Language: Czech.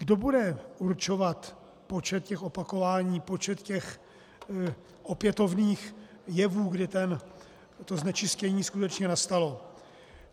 Kdo bude určovat počet těch opakování, počet těch opětovných jevů, kdy to znečištění skutečně nastalo?